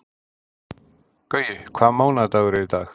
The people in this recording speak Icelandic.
Gaui, hvaða mánaðardagur er í dag?